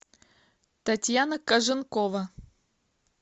татьяна коженкова